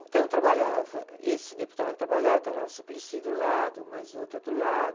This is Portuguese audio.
Então trabalhava esse deputado que trabalhava, trabalhava o Suplicy do lado, mais outra do lado.